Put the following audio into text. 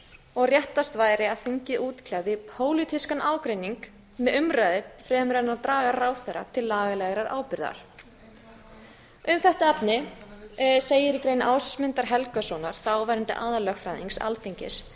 og réttast væri að þingið útkljáði pólitískan ágreining með umræðu fremur en að draga ráðherra til lagalegrar ábyrgðar um þetta efni segir í grein ásmundar helgasonar þáverandi aðallögfræðings alþingis